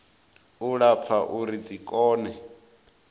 u lapfa uri dzi kone